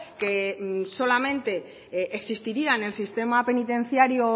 que solamente existiría en el sistema penitenciario